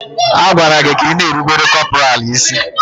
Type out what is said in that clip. A gwara gị ka ị na-erubere kọpọraalụ isí!